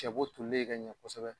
Cɛbo tule ka ɲɛ kosɛbɛ